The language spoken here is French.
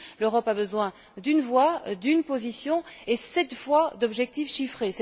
L'Europe a besoin d'une voix, d'une position et, cette fois, d'objectifs chiffrés.